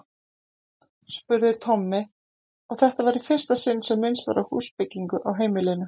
spurði Tommi, og þetta var í fyrsta sinn sem minnst var á húsbyggingu á heimilinu.